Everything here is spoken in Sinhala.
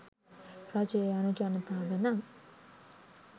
රජය යනු ජනතාව නම්